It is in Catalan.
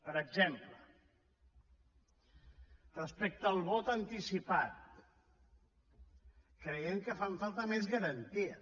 per exemple respecte al vot anticipat creiem que fan falta més garanties